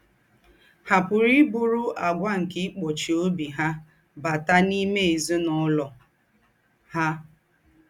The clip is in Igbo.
Ha pùrù íbùrù àgwà nke íkpòchí óbì ha bàtà n’íme èzín’úlọ̀ ha.